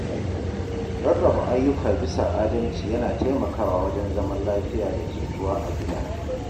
Rarraba ayyuka bisa adalci yana taimakawa wajen zaman lafiya da jituwa a gida.